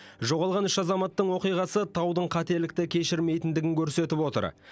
жоғалған үш азаматтың оқиғасы таудың қателікті кешірмейтіндігін көрсетіп отыр